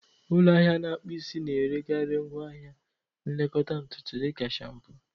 Ụlọ ahịa na-akpụ isi na-erekarị ngwa ahịa nlekọta ntutu dị ka shaampoo